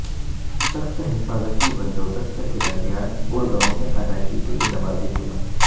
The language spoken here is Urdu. سخت حفاظتی بندوبست کے درمیان گڑگاوں میں ادا کی گئی نمازجمعہ